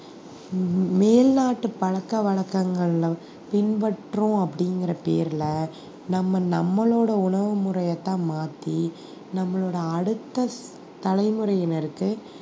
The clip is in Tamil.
மே~ மேல்நாட்டு பழக்க வழக்கங்கள்ல பின்பற்றோம் அப்படிங்கிற பேர்ல நம்ம நம்மளோட உணவு முறையைத்தான் மாத்தி நம்மளோட அடுத்த தலைமுறையினருக்கு